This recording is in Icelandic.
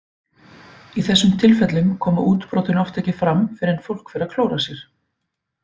Í þessum tilfellum koma útbrotin oft ekki fram fyrr en fólk fer að klóra sér.